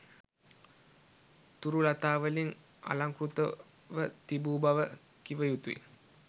තුරු ළතාවලින් අලංකෘතව තිබූ බව කිව යුතුය